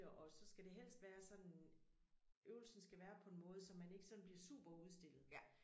Og så skal det helt være sådan øvelsen skal være på en måde så man ikke sådan bliver superudstillet